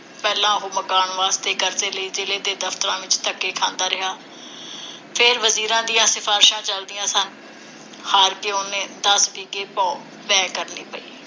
ਪਹਿਲਾਂ ਉਹ ਮਕਾਨ ਵਾਸਤੇ ਕਰਜ਼ੇ ਲਈ ਜ਼ਿਲ੍ਹੇ ਦੇ ਦਫਤਰਾਂ ਵਿਚ ਧੱਕੇ ਖਾਂਦਾ ਰਿਹਾ। ਫ਼ੇਰ ਵਜ਼ੀਰਾਂ ਦੀਆਂ ਸਿਫ਼ਾਰਸ਼ਾਂ ਚਲਦੀਆਂ ਸਨ। ਹਾਰ ਕੇ ਉਹਨੂੰ ਦਸ ਵਿਘੇ ਭੋਂ ਬੈਅ ਕਰਨੀ ਪਈ।